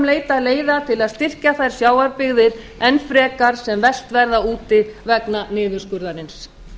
leita leiða til að styrkja þær sjávarbyggðir enn frekar sem verst verða úti vegna niðurskurðarins